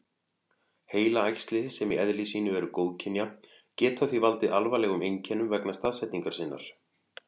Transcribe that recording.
Heilaæxli, sem í eðli sínu eru góðkynja, geta því valdið alvarlegum einkennum vegna staðsetningar sinnar.